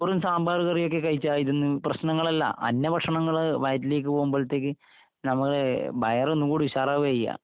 ചോറും സാമ്പാറുകറിയുമൊക്കെ കഴിച്ചാ..